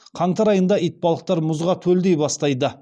қаңтар айында итбалықтар мұзға төлдей бастайды